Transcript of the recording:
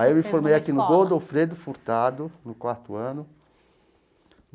Aí eu me formei aqui no Godofredo Furtado, no quarto ano.